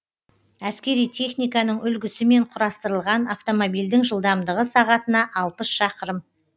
әскери техниканың үлгісімен құрастырылған автомобильдің жылдамдығы сағатына алпыс шақырым